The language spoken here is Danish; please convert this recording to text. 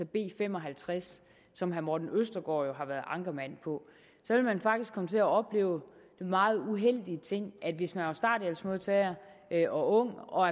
b fem og halvtreds som herre morten østergaard jo har været ankermand på var at man faktisk ville komme til at opleve den meget uheldige ting at hvis man var starthjælpsmodtager og ung og